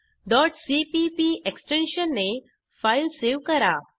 cpp extension ने file save करा